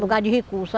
Lugar de recurso.